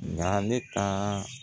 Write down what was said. Na ne ka